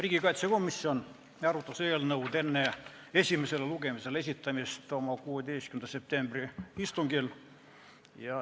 Riigikaitsekomisjon arutas eelnõu enne esimesele lugemisele esitamist oma 16. septembri istungil.